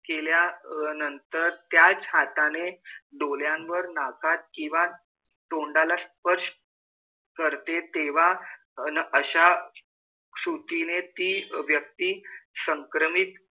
केल्यानंतर त्याच हाताने डोळ्यांवर, नाकात किंवा तोंडाला स्पर्श करते तेव्हा अन अशा कृतीने ती व्यक्ती संक्रमित,